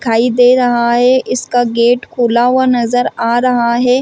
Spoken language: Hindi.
दिखाई दे रहा है इसका गेट खुला हुआ नजर आ रहा है।